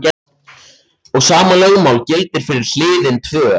Og sama lögmál gildir fyrir HLIÐIN TVÖ.